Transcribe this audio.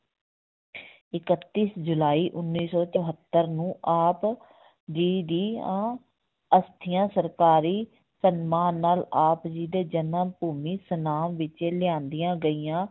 ਇਕੱਤੀਸ ਜੁਲਾਈ ਉੱਨੀ ਸੌ ਚੁਹੋਤਰ ਨੂੰ ਆਪ ਜੀ ਦੀਆਂ ਅਸਥੀਆਂ ਸਰਕਾਰੀ ਸਨਮਾਨ ਨਾਲ ਆਪ ਜੀ ਦੇ ਜਨਮ ਭੂਮੀ ਸਨਾਮ ਵਿੱਚ ਲਿਆਂਦੀਆਂ ਗਈਆਂ।